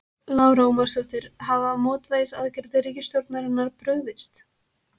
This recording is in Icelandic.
Lára Ómarsdóttir: Hafa mótvægisaðgerðir ríkisstjórnarinnar brugðist?